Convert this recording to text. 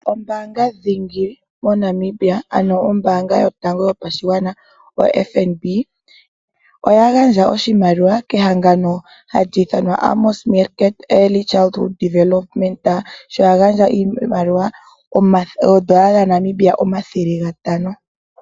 Ombaanga dhingi moNamiia ano ombaanga yotango yopashigwana(FNB) oya gandja oshimaliwa kehangano hali ithanwa Amos Meerkat Early Childhood Development sho ya gandja iimaliwa oodola dhaNamibia omathele gatano.